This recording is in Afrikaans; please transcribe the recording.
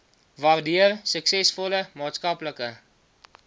waardeur suksesvolle maatskaplike